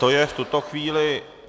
To je v tuto chvíli...